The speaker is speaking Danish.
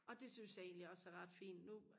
og det synes jeg egentlig også er ret fint nu